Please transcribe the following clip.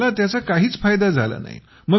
पण मला त्याचा काहीच फायदा झाला नाही